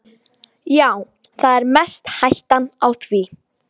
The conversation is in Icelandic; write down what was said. Já, það er mest hættan á því.